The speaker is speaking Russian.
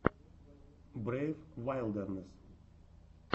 брейв вайлдернесс